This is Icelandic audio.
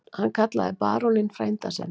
Hann kallaði baróninn frænda sinn.